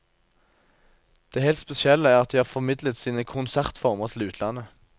Det helt spesielle er at de har formidlet sine konsertformer til utlandet.